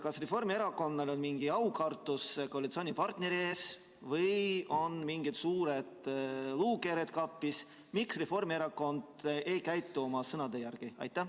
Kas Reformierakonnal on mingi aukartus koalitsioonipartneri ees või on mingid suured luukered kapis, miks Reformierakond ei käitu oma sõnade järgi?